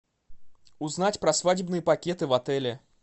узнать про свадебные пакеты в отеле